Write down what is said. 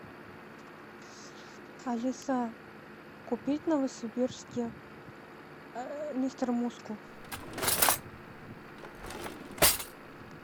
алиса купить в новосибирске мистер мускул